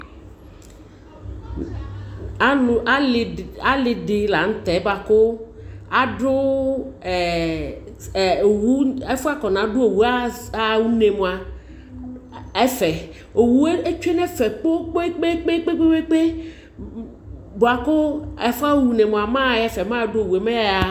alo ali di lantɛ boa ko ado owu ɛfo afɔnado owu aɣa une moa ɛfɛ owu tsue no ɛfɛ kpekpekpe boa ko afɔ ɣa une moa mɛ aɣa ɛfɛ mɛ ado owu mɛ eya ɣa